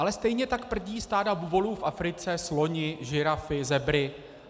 Ale stejně tak prdí stáda buvolů v Africe, sloni, žirafy, zebry.